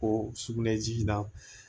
Ko sugunɛji na